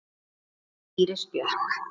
Þín Íris Björk.